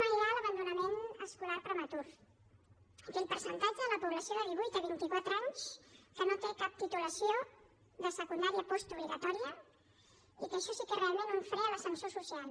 mirem l’abandonament escolar prematur aquell percentatge de la població de divuit a vint i quatre anys que no té cap titulació de secundària postobligatòria i que això sí que és realment un fre a l’ascensor social